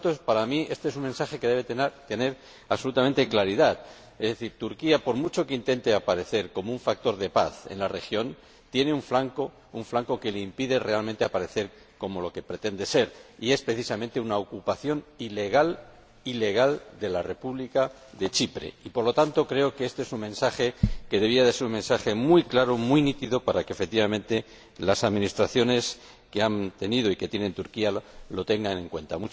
Por lo tanto, para mí, este es un mensaje que debe ser absolutamente claro, es decir Turquía, por mucho que intente aparecer como un factor de paz en la región, tiene un flanco que le impide realmente aparecer como lo que pretende ser y es, precisamente, la ocupación ilegal, ilegal, de la República de Chipre. Y, por lo tanto, creo que este es un mensaje que debería ser un mensaje muy claro, muy nítido, para que, efectivamente, las administraciones que ha tenido y que tiene Turquía lo tengan en cuenta.